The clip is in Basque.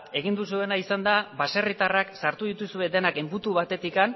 egin duzuena izan da baserritarrak sartu dituzue denak enbutu batetik